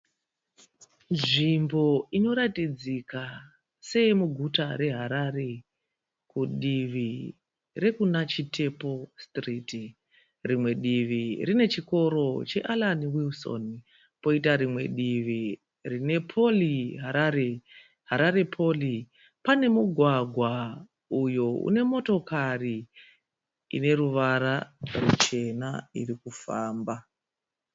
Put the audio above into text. Nzvimbo inoratidzika seye muguta reHarare kudivi rekuna Chitepo Street. Rimwe divi rinechikoro cheAllan Wilson poita rimwe divi rine Poly Harare. Harare Poly pane mugwagwa uyo unemotokari ine ruvara ruchena irikufamba.